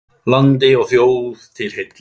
Landi og þjóð til heilla!